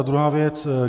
A druhá věc.